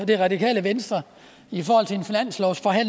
det radikale venstre